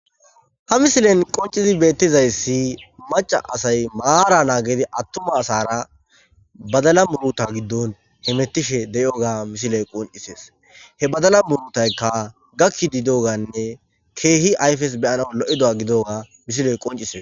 Ha missilen qonchizi betizayisi macca asayi mara nagidi atumma asara badala murutha gidon hemetishe deioga ha missile qonchisses he badala muruthayika gakidi dioganne kehi ayifes beianawu loidoga gidiyoga missike qonchises.